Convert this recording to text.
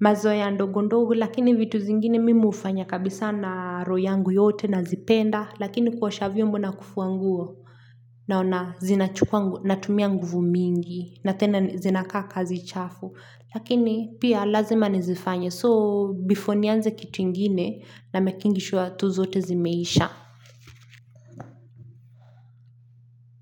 mazoea ndogondogu lakini vitu zingine mimi hufanya kabisa na roho yangu yote nazipenda, lakini kuosha vyombo na kufua nguo naona zinachukua natumia nguvu mingi na tena zinakaa kazi chafu lakini pia lazima nizifanye so before nianze kitu ingine namekingi sure tu zote zimeisha.